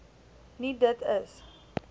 nie dit is